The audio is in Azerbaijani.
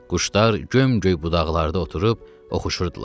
Quşlar gömgöy budaqlarda oturub oxuşurdular.